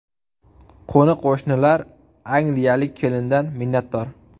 Qo‘ni-qo‘shnilar angliyalik kelindan minnatdor.